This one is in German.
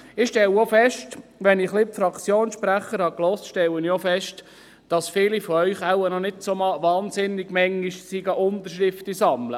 Nachdem ich die Fraktionssprecher gehört habe, stelle ich auch fest, dass viele von ihnen wahrscheinlich noch nicht wahn- sinnig oft Unterschriften sammeln waren.